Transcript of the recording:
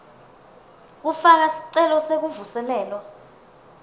kufaka sicelo sekuvuselelwa